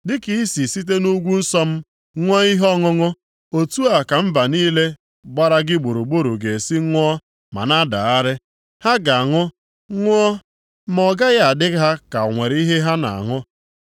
Dịka i si site nʼugwu nsọ m ṅụọ ihe ọṅụṅụ otu a ka mba niile gbara gị gburugburu ga-esi ṅụọ ma na-adagharị. Ha ga-aṅụ, ṅụọ, ma ọ gaghị adị ha ka o nwere ihe ha na-aṅụ.